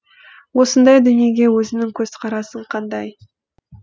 осындай дүниеге өзіңнің көзқарасың қандай